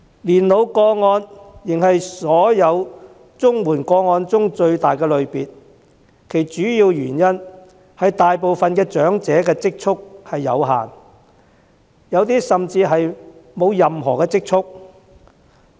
年老個案仍是所有綜援個案中最大的類別，主要原因是大部分長者的積蓄有限，有些甚至沒有任何積蓄。